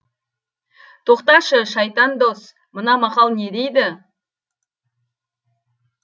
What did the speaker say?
тоқташы шайтан дос мына мақал не дейді